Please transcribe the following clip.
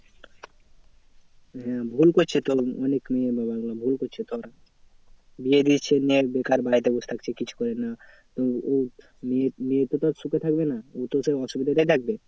হ্যাঁ ভুল করছে তো অনেক মেয়ের বাবারা ভুল করছে তো ওরা। বিয়ে দিয়ে দিচ্ছে মেয়ের বেকার বাড়িতে বসে থাকছে কিছু করে না। তো উ মেয়ে মেয়েতো তোর সুখে থাকবে না। উ তো সেই অসুবিধাতেই থাকবে।